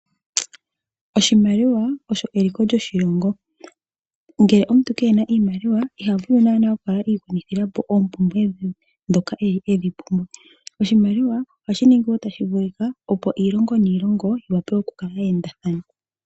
Oshimaliwa osho eliko lyoshilongo. Ngele omuntu ke na oshimaliwa iha vulu naana okukala i gwanithila po oompumbwe dhe ndhoka a pumbwa. Oshimaliwa ohashi kwathele wo opo aantu yiilongo niilongo ya wape ya kale ye endathana.